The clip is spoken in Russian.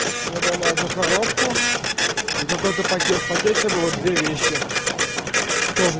мне дали одну коробку и какой-то пакет в пакете было две вещи тоже